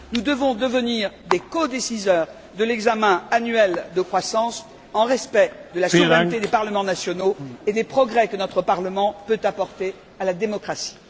Nous devons devenir des codécideurs de l'examen annuel de la croissance dans le respect de la souveraineté des parlements nationaux et des progrès que notre Parlement peut apporter à la démocratie.